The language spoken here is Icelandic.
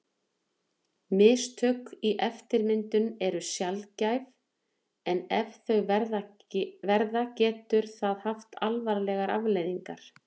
Mistök í eftirmyndun eru sjaldgæf en ef þau verða getur það haft alvarlegar afleiðingar.